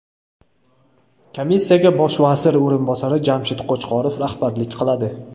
Komissiyaga Bosh vazir o‘rinbosari Jamshid Qo‘chqorov rahbarlik qiladi.